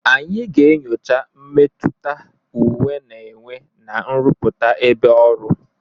Anyị ga-enyocha mmetụta uwe na-enwe na nrụpụta ebe ọrụ.